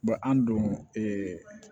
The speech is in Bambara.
an don